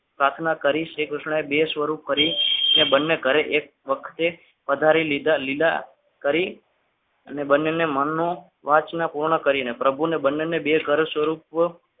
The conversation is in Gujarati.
પ્રાર્થના કરી શ્રીકૃષ્ણ એ બે સ્વરૂપ કરી અને બંને ઘરે એક વખતે પધારી લીધા લીલા કરી અને બંનેને મનનું વાસના પૂર્ણ કરીને